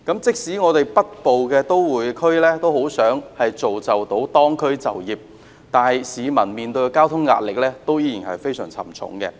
即使北部都會區很想造就當區就業，但市民面對的交通壓力依然非常沉重。